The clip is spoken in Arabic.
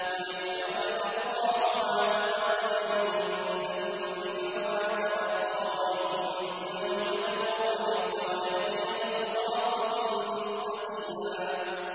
لِّيَغْفِرَ لَكَ اللَّهُ مَا تَقَدَّمَ مِن ذَنبِكَ وَمَا تَأَخَّرَ وَيُتِمَّ نِعْمَتَهُ عَلَيْكَ وَيَهْدِيَكَ صِرَاطًا مُّسْتَقِيمًا